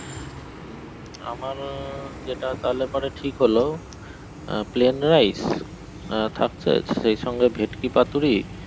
উম আমার যেটা তাহলে পরে ঠিক হলো আহ plane rice থাকছে সেই সঙ্গে ভেটকি পাতুরি